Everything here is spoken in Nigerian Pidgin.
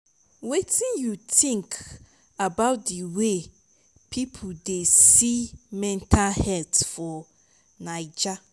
wetin you think about di way people dey see mental health for naija?